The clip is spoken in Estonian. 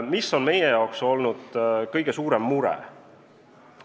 Mis on meie jaoks olnud kõige suurem mure?